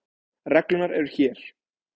Reglurnar eru hér.